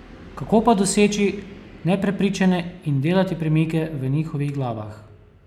Kako pa doseči neprepričane in delati premike v njihovih glavah?